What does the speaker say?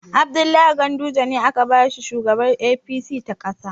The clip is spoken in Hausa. Abdullahi Ganduje ne aka ba shugaban jam'iyyar APC ta ƙasa.